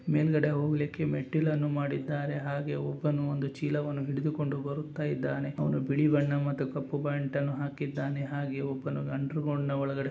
ಮೇಲ್ಗಡೆ ಹೋಗ್ಲಿಕ್ಕೆ ಮೆಟ್ಟಿಲನ್ನು ಮಾಡಿದ್ದಾರೆ. ಹಾಗೆ ಒಬ್ಬನು ಒಂದು ಚೀಲವನ್ನು ಹಿಡಿದುಕೊಂಡು ಬರುತ್ತಾ ಇದ್ದಾನೆ. ಅವನು ಬಿಳಿ ಬಣ್ಣ ಮತ್ತು ಕಪ್ಪು ಪ್ಯಾಂಟ್ ಅನ್ನು ಹಾಕಿದ್ದಾನೆ ಹಾಗೆ ಒಬ್ಬನು ಅಂಡರ್ಗ್ರೌಂಡನ ಒಳಗಡೆ --